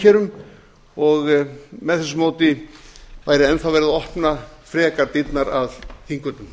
þjóðarankerum og með þessu móti væri enn þá verið að opna frekar dyrnar að þingvöllum